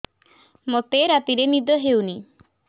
ମୋତେ ରାତିରେ ନିଦ ହେଉନି